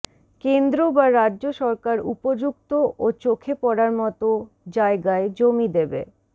কেন্দ্র বা রাজ্য সরকার উপযুক্ত ও চোখে পড়ার মতো জায়গায় জমি দেবে